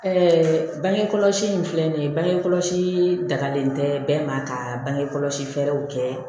bangekɔlɔsi in filɛ nin ye bange kɔlɔsi dagalen tɛ bɛɛ ma ka bansi fɛɛrɛw kɛ